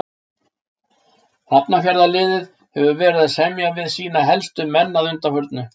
Hafnarfjarðarliðið hefur verið að semja við sína helstu menn að undanförnu.